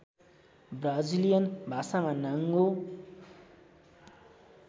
Brazilian भाषामा नाङ्गो